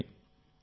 నిజమే